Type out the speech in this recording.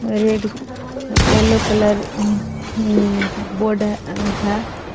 Red yellow colour म board है।